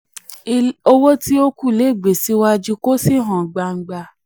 owó tí ó kù le gbé síwájú kó sì hàn gbangba.